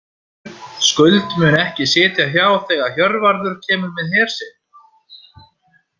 Skuld mun ekki sitja hjá þegar Hjörvarður kemur með her sinn.